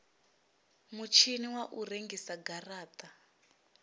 mutshini wa u rengisa garata